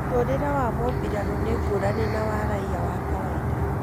Mũtũrĩre wa mũmbirarũ nĩ ngũrani na wa raia wa kawaida